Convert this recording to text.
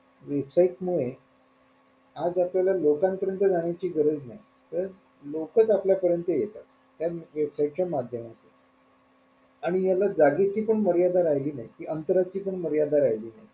website मुळे आज आपल्याला लोकांपरीयंत जाण्याची गरज नाही तर लोकच आपल्या परियंत येतात त्या website च्या माध्यमातून आणि याला जागेची पण मर्यादा राहिली नाही कि अंतर ची पण मर्यादा राहिली नाही.